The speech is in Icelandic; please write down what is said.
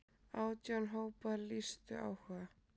Átján hópar lýstu áhuga.